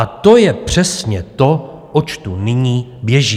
A to je přesně to, oč tu nyní běží.